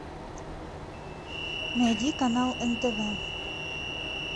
найди канал нтв